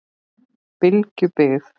Bylgjubyggð